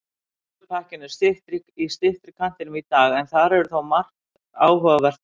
Slúðurpakkinn er í styttri kantinum í dag en þar er þó margt áhugavert efni.